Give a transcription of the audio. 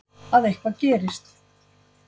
Að eitthvað gerist.